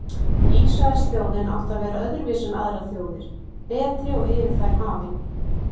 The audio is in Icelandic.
Ísraelsþjóðin átti að vera öðruvísi en aðrar þjóðir, betri og yfir þær hafin.